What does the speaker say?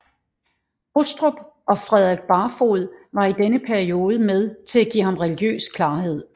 Hostrup og Frederik Barfod var i denne periode med til at give ham religiøs klarhed